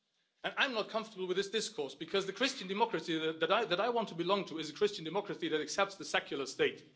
And I am not comfortable with this discourse because the Christian democracy that I want to belong to is a Christian democracy that accepts the secular state.